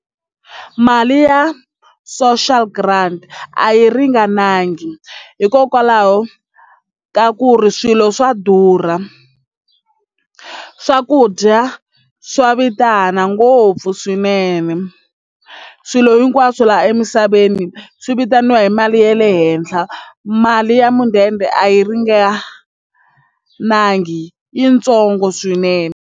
Mali ya social grant a yi ringanangi hikokwalaho ka ku ri swilo swa durha swakudya swa vitana ngopfu swinene swilo hinkwaswo laha emisaveni swi vitaniwa hi mali ya le henhla mali ya mudende a yi ringanangi yitsongo swinene.